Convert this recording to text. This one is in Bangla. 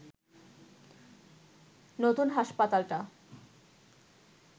নতুন হাসপাতালটা